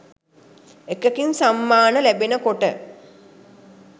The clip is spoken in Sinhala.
එකකින් සම්මාන ලැබෙන කොට